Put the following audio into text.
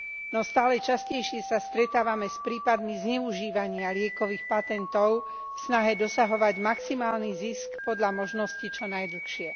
No stále častejšie sa stretávame s prípadmi zneužívania liekových patentov, v snahe dosahovať maximálny zisk podľa možnosti čo najdlhšie.